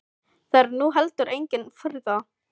Það er nú heldur engin furða.